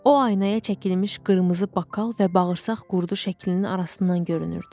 O aynaya çəkilmiş qırmızı bakal və bağırsaq qurdu şəklinin arasından görünürdü.